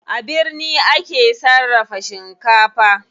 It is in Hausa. A birni ake sarrafa shinkafa.